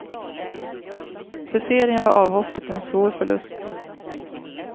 För serien var avhoppet en svår förlust.